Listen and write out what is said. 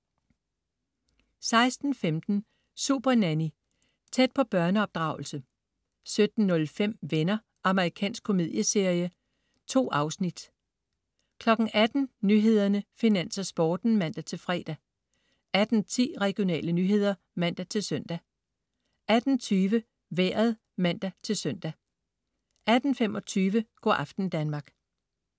16.15 Supernanny. Tæt på børneopdragelse 17.05 Venner. Amerikansk komedieserie. 2 afsnit 18.00 Nyhederne, Finans og Sporten (man-fre) 18.10 Regionale nyheder (man-søn) 18.20 Vejret (man-søn) 18.25 Go' aften Danmark